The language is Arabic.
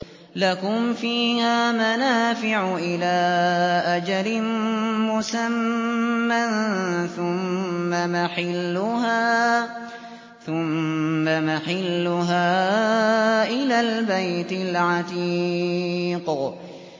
لَكُمْ فِيهَا مَنَافِعُ إِلَىٰ أَجَلٍ مُّسَمًّى ثُمَّ مَحِلُّهَا إِلَى الْبَيْتِ الْعَتِيقِ